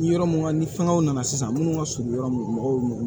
Ni yɔrɔ mun ŋa ni fɛngɛw nana sisan minnu ka surun yɔrɔ min mɔgɔw na